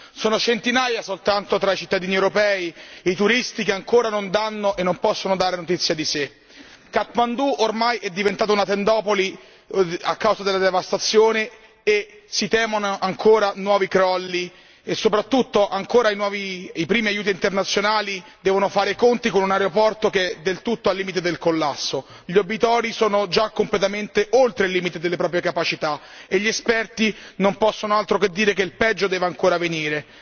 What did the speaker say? Sono centinaia, soltanto tra i cittadini europei, i turisti che ancora non danno e non possono dare notizie di sé. Kathmandu, ormai, è diventata una tendopoli a causa della devastazione e si temono ancora nuovi crolli e soprattutto i primi aiuti internazionali devono fare i conti con un aeroporto che è del tutto al limite del collasso. Gli obitori sono già completamente oltre il limite delle capacità e gli esperti non possono fare altro che dire che il peggio deve ancora venire.